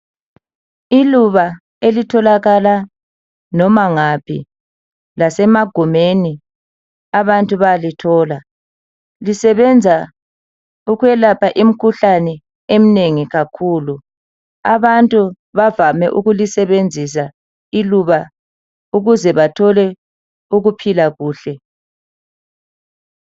Iluba elitholakala noma ngaphi, lasemagumeni abantu bayalithola. Lisebenza ukwelapha imkhuhlane eminengi kakhulu. Abantu bazame ukulisebenzisa iluba ukuze bathole ukuphila kuhle.